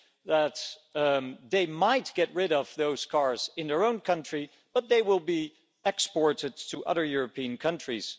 that they might get rid of those cars in their own country, but they will be exported to other European countries.